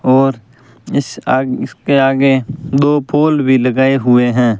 और इस आग इसके आगे दो पोल भी लगाए हुए हैं।